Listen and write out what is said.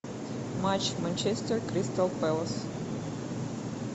матч манчестер кристал пэлас